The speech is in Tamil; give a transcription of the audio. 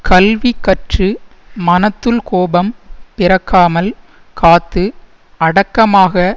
கல்வி கற்று மனத்துள் கோபம் பிறக்காமல் காத்து அடக்கமாக